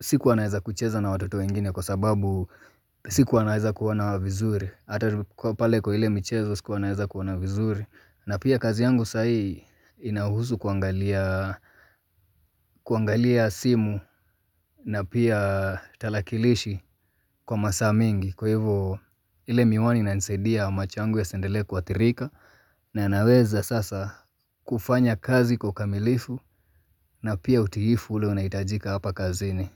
sikuwa naweza kucheza na watoto wengine kwa sababu sikuwa naweza kuwaona vizuri ata pale kwa ile michezo sikuwa naweza kuona vizuri na pia kazi yangu sahii inahusu kuangalia kuangalia simu na pia talakilishi kwa masaa mengi Kwa hivo ile miwani inanisaidia macho yangu yasiendelee kuathirika na naweza sasa kufanya kazi kwa ukamilifu na pia utiifu ule unahitajika hapa kazini.